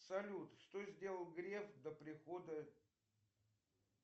салют что сделал греф до прихода